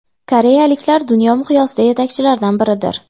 Koreyaliklar dunyo miqyosida yetakchilardan biridir.